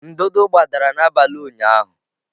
ndụdụ gbadara n'abalị ụnyahụ.